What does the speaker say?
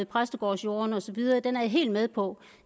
præstegårdsjordene og så videre den er jeg helt med på